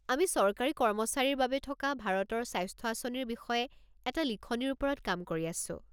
আমি চৰকাৰী কৰ্মচাৰীৰ বাবে থকা ভাৰতৰ স্বাস্থ্য আঁচনিৰ বিষয়ে এটা লিখনিৰ ওপৰত কাম কৰি আছোঁ।